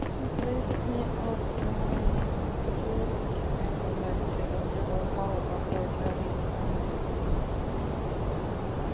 это зависит не от татуировки это зависит от болевого порог какой у тебя он есть на самом деле